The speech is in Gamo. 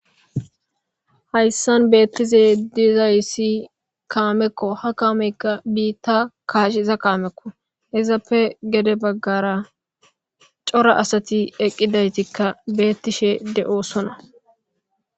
Hayssan beettise diiza yisi kaamekko ha kameykka biitta kaash iza kaamekko izappe gede baggara cora asati eqqidaytikka beettishe de'osona.